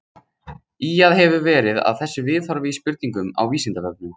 Ýjað hefur verið að þessu viðhorfi í spurningum á Vísindavefnum.